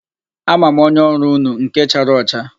A ma m onye ọrụ unu, nke chara ọcha.